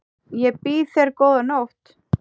Ég býð þér góða nótt.